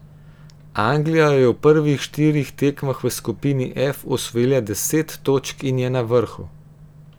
Anglija je v prvih štirih tekmah v skupini F osvojila deset točk in je na vrhu.